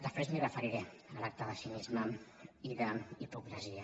després m’hi referiré a l’acte de cinisme i d’hipocresia